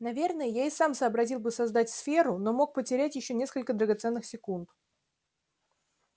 наверное я и сам сообразил бы создать сферу но мог потерять ещё несколько драгоценных секунд